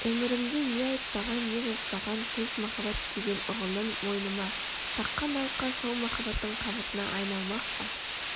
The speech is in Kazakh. Өмірімде не айтпаған не жазбаған сөз махаббат деген ұғымнан мойныма таққан алқа сол махаббаттың қамытына айналмақ па